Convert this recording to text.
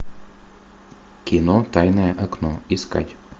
кино тайное окно искать